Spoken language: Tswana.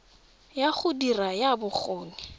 ya go dira ya bokgoni